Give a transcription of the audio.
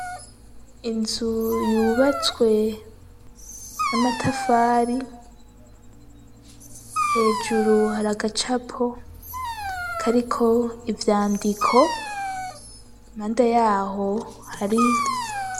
Inzu yubatswe n'amatafari hejuru hari agacapo kariko ivyandiko mpande yaho hari